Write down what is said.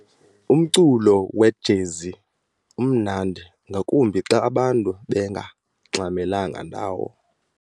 Umculo wejezi umnandi ngakumbi xa abantu bengangxamelanga ndawo.